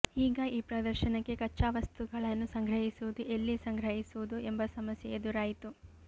ಈಗ ಈ ಪ್ರದರ್ಶನಕ್ಕೆ ಕಚ್ಚಾ ವಸ್ತುಗಳನ್ನು ಸಂಗ್ರಹಿಸುವುದು ಎಲ್ಲಿ ಸಂಗ್ರಹಿಸುವುದು ಎಂಬ ಸಮಸ್ಯೆ ಎದುರಾಯಿತು